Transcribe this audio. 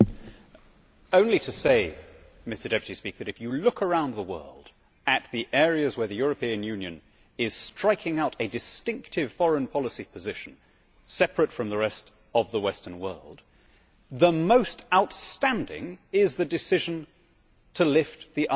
Mr President, if you look around the world at the areas where the European Union is striking out a distinctive foreign policy position, separate from the rest of the Western world, the most outstanding is the decision to lift the arms embargo on Beijing.